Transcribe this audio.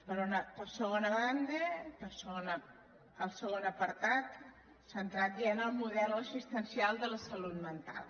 per segona banda el segon apartat centrat ja en el model assistencial de la salut mental